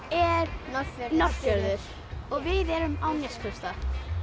er Norðfjörður og við erum á Neskaupstað